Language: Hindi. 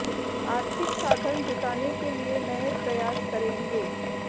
आर्थिक साधन जुटाने के लिए नए प्रयास करेंगे